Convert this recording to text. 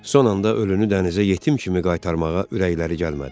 Son anda ölünü dənizə yetim kimi qaytarmağa ürəkləri gəlmədi.